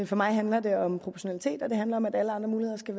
for mig handler det om proportionalitet og det handler om at alle andre muligheder skal